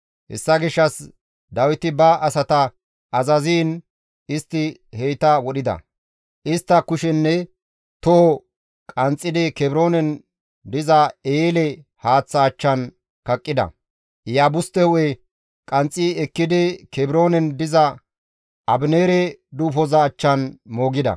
Hessa gishshas Dawiti ba asata azaziin istti heyta wodhida; istta kushenne toho qanxxidi Kebroonen diza eele haaththa achchan kaqqida; Iyaabuste hu7e qanxxi ekkidi Kebroonen diza Abineere duufoza achchan moogida.